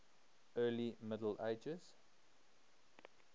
early middle ages